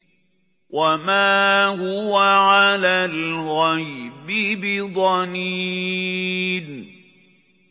وَمَا هُوَ عَلَى الْغَيْبِ بِضَنِينٍ